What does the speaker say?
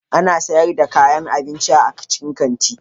Ana sayar da kayan abinci a cikin kanti.